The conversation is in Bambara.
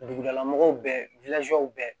Dugudala mɔgɔw bɛ bɛɛ